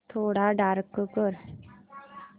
थोडा डार्क कर